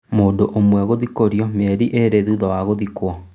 Mũndũ ũmwe gũthikũrio mĩeri ĩrĩ thutha wa gũthikwo.